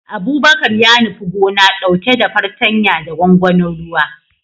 Abubakar ya nufi gona, dauke da fartanya da gwangwanin ruwa